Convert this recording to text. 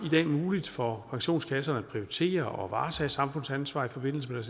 i dag muligt for pensionskasserne at prioritere og varetage samfundsansvar i forbindelse med